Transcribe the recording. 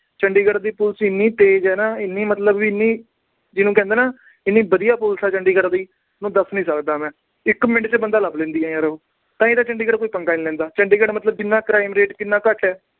ਚੰਡੀਗੜ੍ਹ ਦੀ police ਇੰਨੀ ਤੇਜ ਆ ਨਾ, ਇੰਨੀ ਮਤਲਬ ਜਿਹਨੂੰ ਕਹਿੰਦੇ ਆ ਵੀ, ਇੰਨੀ ਵਧੀਆ police ਆ ਚੰਡੀਗੜ੍ਹ ਦੀ। ਤੁਹਾਨੂੰ ਦੱਸ ਨੀ ਸਕਦਾ ਮੈੈਂ। ਇੱਕ ਮਿੰਟ ਚ ਬੰਦਾ ਲੱਭ ਲੈਂਦੀ ਆ ਯਾਰ ਉਹ। ਤਾਂ ਹੀ ਤਾਂ ਚੰਡੀਗੜ੍ਹ ਕੋਈ ਪੰਗਾ ਨੀ ਲੈਂਦਾ। ਚੰਡੀਗੜ੍ਹ ਮਤਲਬ crime rate ਕਿੰਨਾ ਘੱਟ ਹੈ।